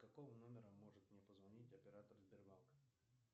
с какого номера может мне позвонить оператор сбербанка